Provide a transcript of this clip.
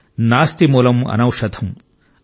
నాస్తి మూలం అనౌషధం ||